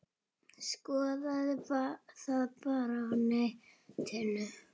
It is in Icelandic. Skoðið það bara á netinu.